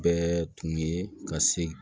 Bɛɛ tun ye ka se